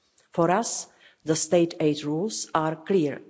For us, the state aid rules are clear.